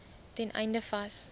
ten einde vas